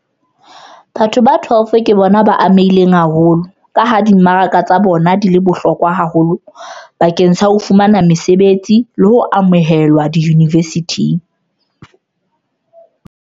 12 ke bona ba amehileng haholo, ka ha dimaraka tsa bona di le bohlokwa haholo bakeng sa ho fumana mesebetsi le ho amohelwa diyunivesithing.